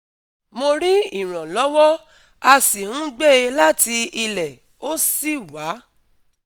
Mo rí ìrànlọ́wọ́, a sì ń gbé e láti ilẹ̀, ó sì wá